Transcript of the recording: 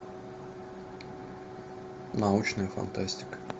научная фантастика